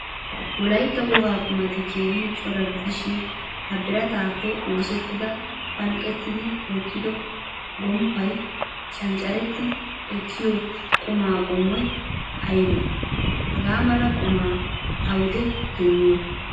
Wolaytta wogaa qumati keehin cora gidishin ha birattappe oosettida phalqqidi wottido gomppay canccaretti ekkiyo quma qommoy aybe? Hagaa mala quma awude demmiyo?